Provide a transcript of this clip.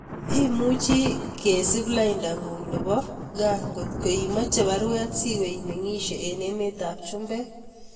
Imuchi kesup lainda ngung nebo kaa ngotko imeche baruet siwe imengishe eng emet ab chumbek.